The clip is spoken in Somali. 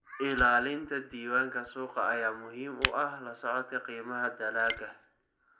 Ilaalinta diiwaanka suuqa ayaa muhiim u ah la socodka qiimaha dalagga.